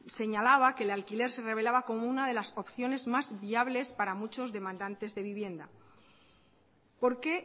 señalaba que el alquiler se revelaba como una de las opciones más viables para muchos demandantes de vivienda porque